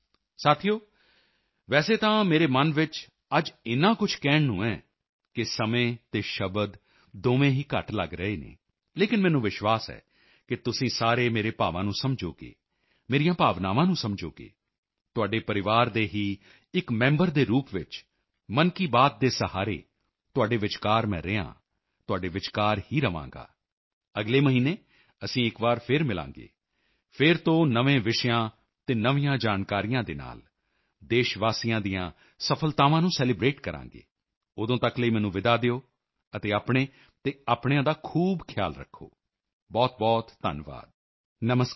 ਸਾਥੀਓ ਵੈਸੇ ਤਾਂ ਮੇਰੇ ਮਨ ਵਿੱਚ ਅੱਜ ਇੰਨਾ ਕੁਝ ਕਹਿਣ ਨੂੰ ਹੈ ਕਿ ਸਮੇਂ ਅਤੇ ਸ਼ਬਦ ਦੋਵੇਂ ਹੀ ਘੱਟ ਲੱਗ ਰਹੇ ਹਨ ਲੇਕਿਨ ਮੈਨੂੰ ਵਿਸ਼ਵਾਸ ਹੈ ਕਿ ਤੁਸੀਂ ਸਾਰੇ ਮੇਰੇ ਭਾਵਾਂ ਨੂੰ ਸਮਝੋਗੇ ਮੇਰੀਆਂ ਭਾਵਨਾਵਾਂ ਨੂੰ ਸਮਝੋਗੇ ਤੁਹਾਡੇ ਪਰਿਵਾਰ ਦੇ ਹੀ ਇਕ ਮੈਂਬਰ ਦੇ ਰੂਪ ਵਿੱਚ ਮਨ ਕੀ ਬਾਤ ਦੇ ਸਹਾਰੇ ਤੁਹਾਡੇ ਵਿਚਕਾਰ ਮੈਂ ਰਿਹਾ ਹਾਂ ਤੁਹਾਡੇ ਵਿਚਕਾਰ ਹੀ ਰਹਾਂਗਾ ਅਗਲੇ ਮਹੀਨੇ ਅਸੀਂ ਇਕ ਵਾਰ ਫਿਰ ਮਿਲਾਂਗੇ ਫਿਰ ਤੋਂ ਨਵੇਂ ਵਿਸ਼ਿਆਂ ਅਤੇ ਨਵੀਆਂ ਜਾਣਕਾਰੀਆਂ ਦੇ ਨਾਲ ਦੇਸ਼ਵਾਸੀਆਂ ਦੀਆਂ ਸਫ਼ਲਤਾਵਾਂ ਨੂੰ ਸੈਲੀਬ੍ਰੇਟ ਕਰਾਂਗੇ ਉਦੋਂ ਤੱਕ ਲਈ ਮੈਨੂੰ ਵਿਦਾ ਦਿਓ ਅਤੇ ਆਪਣੇ ਤੇ ਆਪਣਿਆਂ ਦਾ ਖੂਬ ਖਿਆਲ ਰੱਖੋ ਬਹੁਤਬਹੁਤ ਧੰਨਵਾਦ ਨਮਸਕਾਰ